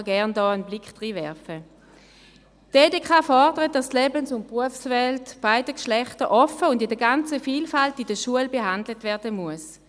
Die Schweizerische Konferenz der kantonalen Erziehungsdirektoren (EDK) fordert, dass die Lebens- und Berufswelt beiden Geschlechtern offen stehen und in der ganzen Feinheit in der Schule behandelt werden muss.